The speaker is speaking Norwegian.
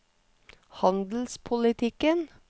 handelspolitikken